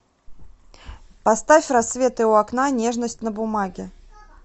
поставь рассветы у окна нежность на бумаге